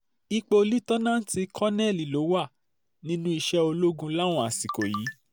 ipò um lítáánáàtì kọ̀nẹ́ẹ́lì ló wà nínú iṣẹ́ ológun um láwọn àsìkò yìí